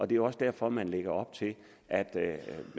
det er også derfor at man lægger op til at at